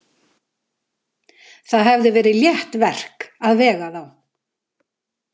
Það hefði verið létt verk að vega þá.